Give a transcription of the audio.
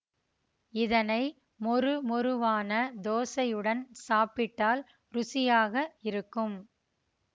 இதனை மொரு மொருவான தோசையுடன் சாப்பிட்டால் ருசியாக இருக்கும்